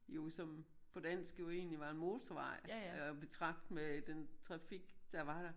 Jo som på dansk jo egentlig var en motorvej og betragt med den trafik der var der